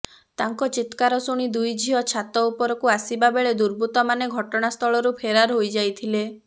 ତାଙ୍କ ଚିତ୍କାର ଶୁଣି ଦୁଇ ଝିଅ ଛାତ ଉପରକୁ ଆସିବା ବେଳେ ଦୁବୃର୍ତ୍ତମାନେ ଘଟଣାସ୍ଥଳରୁ ଫେରାର ହୋଇ ଯାଇଥିଲେ